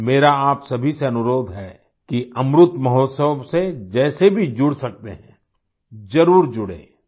मेरा आप सभी से अनुरोध है कि अमृतमहोत्सव से जैसे भी जुड़ सकते हैं ज़रुर जुड़े